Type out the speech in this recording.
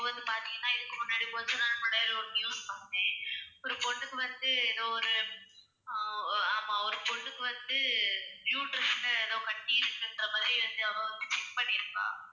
இப்ப வந்து பார்த்தீங்கனா இதுக்கு முன்னாடி கொஞ்ச நாள் முன்னாடி ஒரு news பார்த்தேன் ஒரு பொண்ணுக்கு வந்து ஏதோ ஒரு அஹ் ஆமா ஒரு பொண்ணுக்கு வந்து uterus ல ஏதோ கட்டி இருக்குன்ற மாதிரி அவ check பண்ணிருக்கா